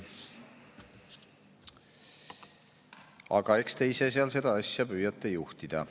Aga eks te ise seal seda asja püüate juhtida.